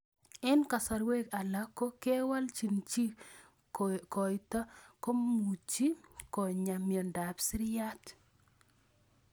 Eng' kasarwek alak ko kewalchi chii koito komuchi konyaa miondop siriat